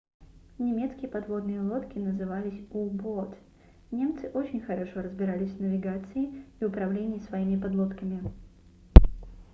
немецкие подводные лодки назывались u-boat немцы очень хорошо разбирались в навигации и управлении своими подлодками